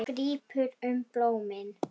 Allir hinir voru miklu betri.